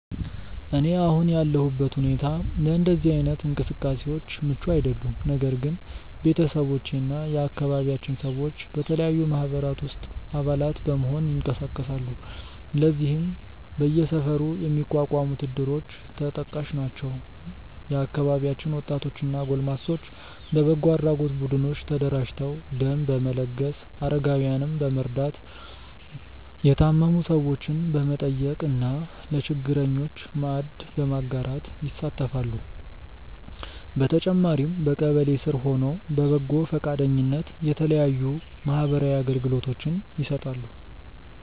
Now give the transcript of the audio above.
እኔ አሁን ያለሁበት ሁኔታ ለእንደዚህ አይነት እንቅስቃሴዎች ምቹ አይደለም። ነገር ግን ቤተሰቦቼ እና የአካባቢያችን ሰዎች በተለያዩ ማህበራት ውስጥ አባላት በመሆን ይንቀሳቀሳሉ። ለዚህም በየሰፈሩ የሚቋቋሙት እድሮች ተጠቃሽ ናቸው። የአካባቢያችን ወጣቶች እና ጎልማሶች በበጎ አድራጎት ቡድኖች ተደራጅተው ደም በመለገስ፣ አረጋውያንን በመርዳት፣ የታመሙ ሰዎችን በመጠየቅ እና ለችግረኞች ማዕድ በማጋራት ይሳተፋሉ። በተጨማሪም በቀበሌ ስር ሆነው በበጎ ፈቃደኝነት የተለያዩ ማህበራዊ አገልግሎቶችን ይሰጣሉ።